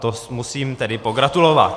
To musím tedy pogratulovat!